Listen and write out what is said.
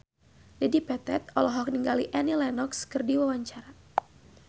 Dedi Petet olohok ningali Annie Lenox keur diwawancara